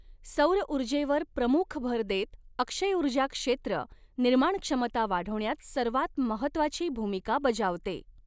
सौरऊर्जेवर प्रमुख भर देत अक्षयऊर्जा क्षेत्र निर्माणक्षमता वाढवण्यात सर्वांत महत्त्वाची भूमिका बजावते.